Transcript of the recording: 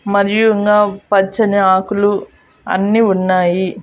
మరియు ఇంగా పచ్చని ఆకులు అన్నీ ఉన్నాయి.